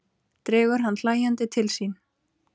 Dregur hann hlæjandi til sín.